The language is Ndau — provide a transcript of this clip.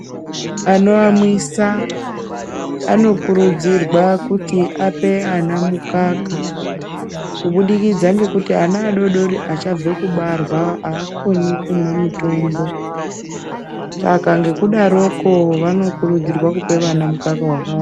Anoamwisa anokurudzirwa kuti ape ana mukaka kubudikidza ngekuti ana ado-dori achangobva kubarwa, haakoni kumwa mutombo, saka ngekudaroko vanokurudzirwa kupa mwana mukaka wakawanda.